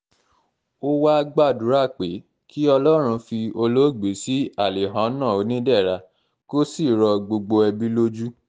ó wàá gbàdúrà pé gbàdúrà pé kí ọlọ́run fi olóògbé sí alihànnà onídẹra kó sì rọ gbogbo ẹbí lójú